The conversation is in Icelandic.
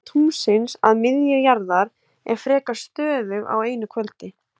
Fjarlægð tunglsins að miðju jarðar er frekar stöðug á einu kvöldi.